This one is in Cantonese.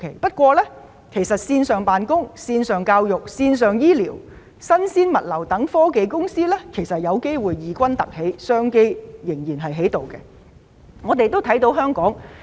不過，線上辦工、教育、醫療、新鮮物流等科技公司其實有機會異軍突起，創造商機。